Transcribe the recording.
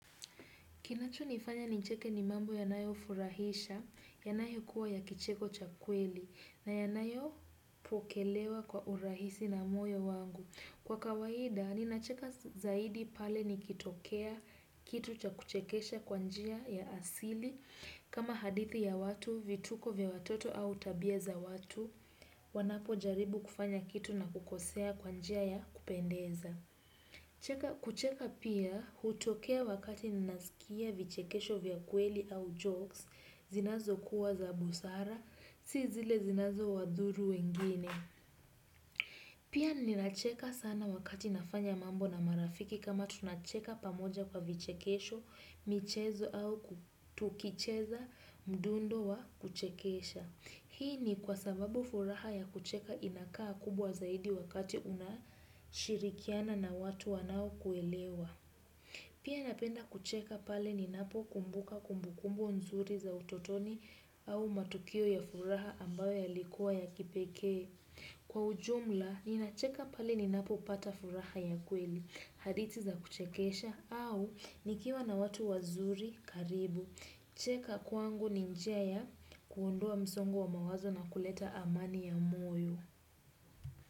Kinacho nifanya nicheke ni mambo yanayofurahisha, yanayo kuwa ya kicheko cha kweli, na yanayo pokelewa kwa urahisi na moyo wangu. Kwa kawaida, ninacheka zaidi pale nikitokea kitu cha kuchekesha kwa njia ya asili, kama hadithi ya watu, vituko vya watoto au tabia za watu, wanapo jaribu kufanya kitu na kukosea kwa njia ya kupendeza. Kucheka pia hutokea wakati ninasikia vichekesho vya kweli au jokes. Zinazo kuwa za busara, si zile zinazo wadhuru wengine. Pia nina cheka sana wakati nafanya mambo na marafiki. Kama tunacheka pamoja kwa vichekesho, michezo au tukicheza mdundo wa kuchekesha. Hii ni kwa sababu furaha ya kucheka inakaa kubwa zaidi wakati unashirikiana na watu wanao kuelewa. Pia napenda kucheka pale ni napo kumbuka kumbukumbu nzuri za utotoni au matukio ya furaha ambayo yalikuwa ya kipekee. Kwa ujumla, ninacheka pale ninapo pata furaha ya kweli, hadithi za kuchekesha au nikiwa na watu wazuri karibu. Kucheka kwangu ni njia ya kuondoa msongo wa mawazo na kuleta amani ya moyo.